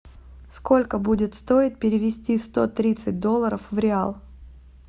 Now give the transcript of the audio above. сколько будет стоить перевести сто тридцать долларов в реал